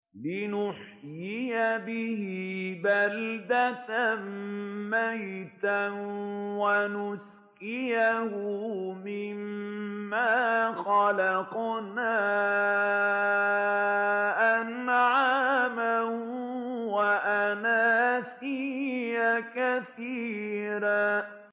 لِّنُحْيِيَ بِهِ بَلْدَةً مَّيْتًا وَنُسْقِيَهُ مِمَّا خَلَقْنَا أَنْعَامًا وَأَنَاسِيَّ كَثِيرًا